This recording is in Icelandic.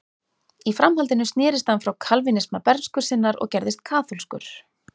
Í framhaldinu snerist hann frá kalvínisma bernsku sinnar og gerðist kaþólskur.